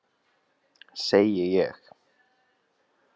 Segi ég.